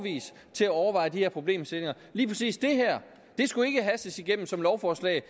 til at overveje de her problemstillinger lige præcis det her skulle ikke hastes igennem som lovforslag